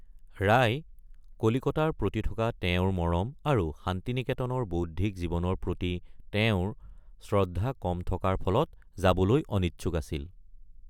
ৰায় কলিকতাৰ প্ৰতি থকা তেওঁৰ মৰম আৰু শান্তিনিকেতনৰ বৌদ্ধিক জীৱনৰ প্ৰতি তেওঁৰ শ্ৰদ্ধা কম থকাৰ ফলত যাবলৈ অনিচ্ছুক আছিল।